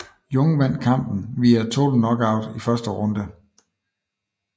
Jung vandt kampen via TKO i første runde